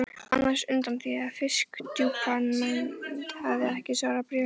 annars undan því að Fisksjúkdómanefnd hefði ekki svarað bréfum mínum.